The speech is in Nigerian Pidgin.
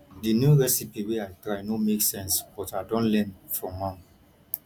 di new recipe wey i try no make sense but i don learn from am